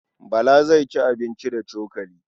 Bala zai ci abinci da cokali.